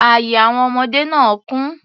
Ààye àwọn ọmọdé náà kún.